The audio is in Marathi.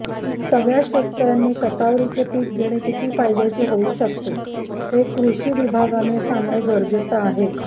सगळ्या शेतकऱ्यांनी शतावरीचे पीक घेणे किती फायद्याचे होऊ शकते हे कृषी विभागाने सांगणं गरजेचं आहे